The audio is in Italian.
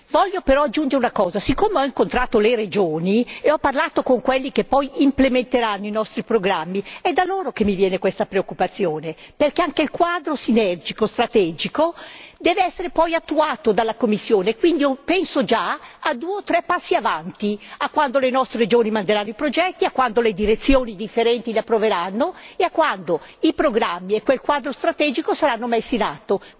Desidero però aggiungere una cosa siccome ho incontrato le regioni e ho parlato con quelli che poi implementeranno i nostri programmi, è da loro che mi viene questa preoccupazione, perché anche il quadro sinergico strategico deve essere poi attuato dalla Commissione e quindi penso già al futuro a quando le nostre regioni manderanno i progetti, a quando le direzioni differenti le approveranno e a quando i programmi e quel quadro strategico saranno messi in atto.